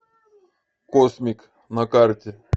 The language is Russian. космик на карте